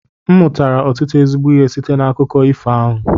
M mụtara ọtụtụ ezigbo ihe site n'akụkọ ifo ahụ